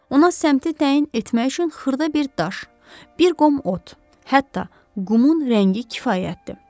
Ona səmtı təyin etmək üçün xırda bir daş, bir qom ot, hətta qumun rəngi kifayətdir.